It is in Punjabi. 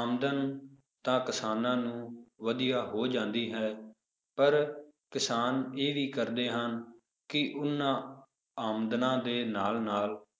ਆਮਦਨ ਤਾਂ ਕਿਸਾਨਾਂ ਨੂੰ ਵਧੀਆ ਹੋ ਜਾਂਦੀ ਹੈ ਪਰ ਕਿਸਾਨ ਇਹ ਵੀ ਕਰਦੇ ਹਨ ਕਿ ਉਹਨਾਂ ਆਮਦਨਾਂ ਦੇ ਨਾਲ ਨਾਲ